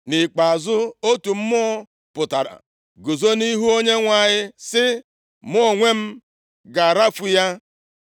Nʼikpeazụ otu mmụọ pụtara, guzo nʼihu Onyenwe anyị sị, ‘Mụ onwe m ga-arafu ya.’